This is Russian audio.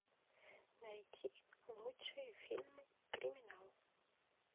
найти лучшие фильмы криминал